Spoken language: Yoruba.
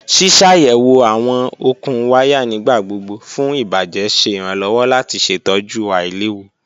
Ṣiṣayẹwo awọn okun waya nigbagbogbo fun ibajẹ ṣe iranlọwọ lati ṣetọju ailewu